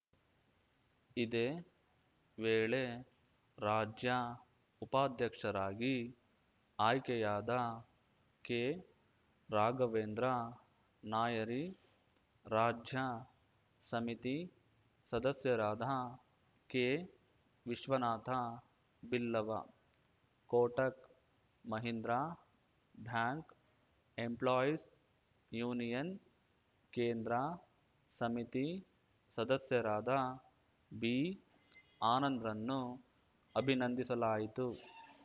ಇದೇ ವೇಳೆ ರಾಜ್ಯ ಉಪಾಧ್ಯಕ್ಷರಾಗಿ ಆಯ್ಕೆಯಾದ ಕೆರಾಘವೇಂದ್ರ ನಾಯರಿ ರಾಜ್ಯ ಸಮಿತಿ ಸದಸ್ಯರಾದ ಕೆವಿಶ್ವನಾಥ Billava Kotak Mahindra bank employees union ಕೇಂದ್ರ ಸಮಿತಿ ಸದಸ್ಯರಾದ ಬಿಆನಂದರನ್ನು ಅಭಿನಂದಿಸಲಾಯಿತು